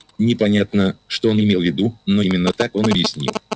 непонятно что он имел в виду но именно так он объяснил